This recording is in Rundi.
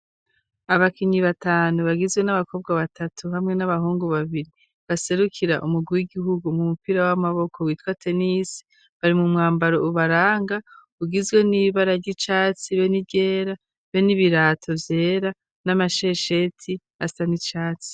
Abakinyi batanu bagizwe n'abakobwa batatu hamwe n'abahungu babiri baserukira umugwi w'igihugu mu mupira w'amaboko witwa tenis bari mu mwambaro ubaranga ugizwe n'ibara ry'icatsi be niryera be n'ibirato byera n'amashesheti asa n'icatsi.